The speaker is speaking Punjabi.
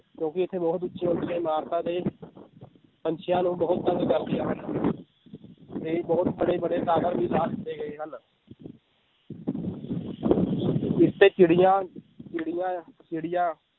ਕਿਉਂਕਿ ਇੱਥੇ ਬਹੁਤ ਉੱਚੇ ਉੱਚੇ ਇਮਾਰਤਾਂ ਦੇ ਪੰਛੀਆਂ ਨੂੰ ਬਹੁਤ ਹਨ ਤੇ ਬਹੁਤ ਬੜੇ ਬੜੇ tower ਵੀ ਲਾ ਦਿੱਤੇ ਗਏ ਹਨ ਚਿੱੜੀਆਂ ਚਿੱੜੀਆਂ ਚਿੱੜੀਆਂ